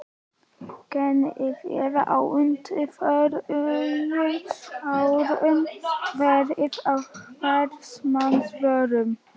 Genið hefur á undanförnum árum verið á hvers manns vörum.